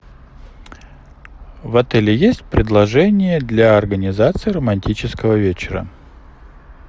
в отеле сть предложения для организации романтического вечера